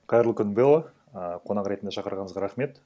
қайырлы күн бэлла э қонақ ретінде шақырғаныңызға рахмет